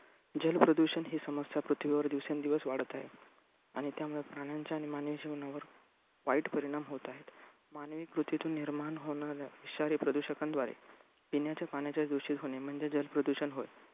जल प्रदूषण ही समस्या पृथ्वीवर दिवसेंदिवस वाढत आहे. आणि त्यामुळे प्राणांच्या आणि मानवी जीवनावर वाईट परिणाम होत आहेत. मानवी कृतीतून निर्माण होणाऱ्या विषारी प्रदूषकांद्वारे पिण्याच्या पाण्याचे दूषित होणे म्हणजे जल प्रदूषण होय.